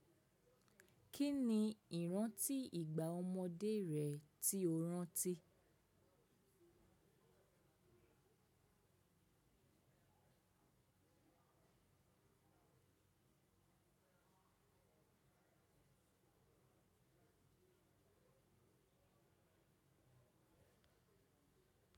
Kí ni ìrántí ìgbà ọmọdé rẹ tí o rántí?